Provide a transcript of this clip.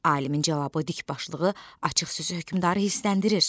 Alimin cavabı dikbaşlığı açıq sözü hökmdarı hissləndirir.